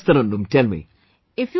Yes Tarannum, tell me...